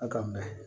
A ka mɛ